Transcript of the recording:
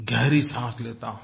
गहरी साँस लेता हूँ